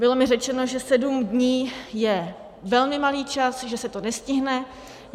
Bylo mi řečeno, že 7 dní je velmi malý čas, že se to nestihne.